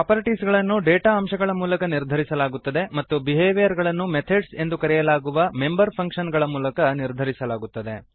properties ಗಳನ್ನು data ಅಂಶಗಳ ಮೂಲಕ ನಿರ್ಧರಿಸಲಾಗುತ್ತದೆ ಮತ್ತು ಬಿಹೇವಿಯರನ್ನು ಮೆಥಡ್ಸ್ ಎಂದು ಕರೆಯಲಾಗುವ ಮೆಂಬರ್ ಫಂಕ್ಶನ್ ಗಳ ಮೂಲಕ ನಿರ್ಧರಿಸಲಾಗುತ್ತದೆ